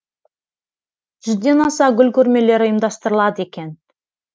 жүзден аса гүл көрмелері ұйымдастырылады екен